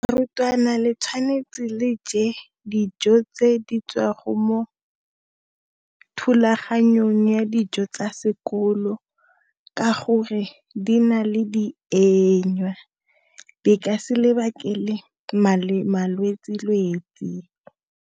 Barutwana le tshwanetse le je dijo tse di tswa mo thulaganyong ya dijo tsa sekolo ka gore di na le di di ka se malwetsi-lwetsi.